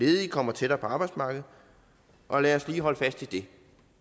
ledige kommer tættere på arbejdsmarkedet og lad os lige holde fast i det